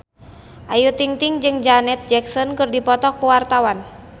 Ayu Ting-ting jeung Janet Jackson keur dipoto ku wartawan